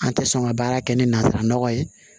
An tɛ sɔn ka baara kɛ ni nanzara nɔgɔ ye